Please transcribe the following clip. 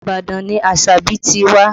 Ibadan ni Asabi ti wá